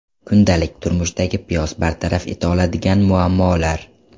Kundalik turmushdagi piyoz bartaraf eta oladigan muammolar.